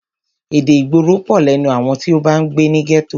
Èdè ìgboro pọ̀ lẹ́nu àwọn tí o bá ń gbé ní gẹ́tò.